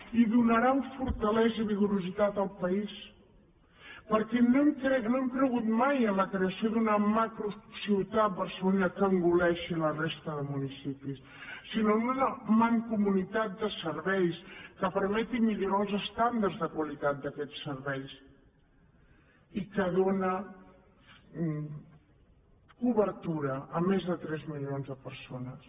i donaran fortalesa i vigorositat al país perquè no hem cregut mai en la creació d’una macrociutat barcelonina que engoleixi la resta de municipis sinó en una mancomunitat de serveis que permeti millorar els estàndards de qualitat d’aquests serveis i que dóna cobertura a més de tres milions de persones